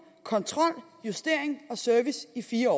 kontrol justering og service i fire år